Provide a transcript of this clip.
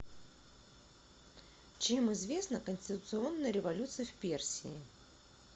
чем известна конституционная революция в персии